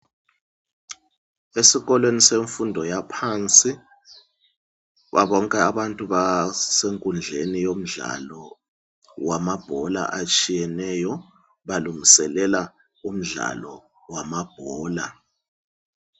Esikolweni semfundo yaphansi kubo bonke abantu basekundleni yomdlalo wamabhola atshiyeneyo balungiselela umdlalo wamabhola.